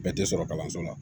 Bɛɛ tɛ sɔrɔ kalanso la